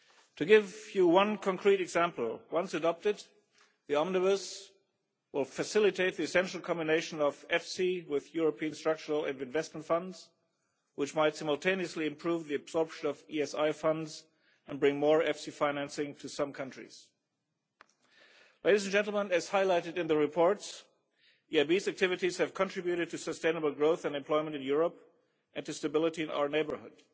To give you one concrete example, once adopted the Omnibus will facilitate the essential combination of EFSI with European structural and investment funds, which might simultaneously improve the absorption of ESI funds and bring more EFSI financing to some countries. As highlighted in the reports, the EIB's activities have contributed to sustainable growth and employment in Europe and to stability in our neighbourhood.